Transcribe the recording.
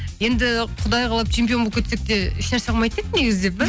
енді құдай қалап чемпион болып кетсек те ешнәрсе қылмайтын еді негіз деп па